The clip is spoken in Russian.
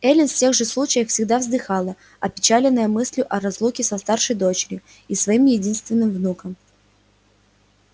эллин в тех же случаях всегда вздыхала опечаленная мыслью о разлуке со старшей дочерью и своим единственным внуком